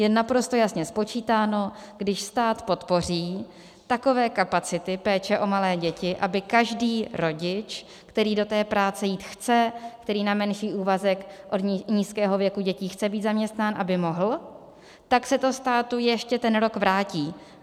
Je naprosto jasně spočítáno, když stát podpoří takové kapacity péče o malé děti, aby každý rodič, který do té práce jít chce, který na menší úvazek od nízkého věku dětí chce být zaměstnán, aby mohl, tak se to státu ještě ten rok vrátí.